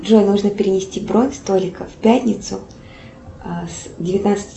джой нужно перенести бронь столика в пятницу с девятнадцати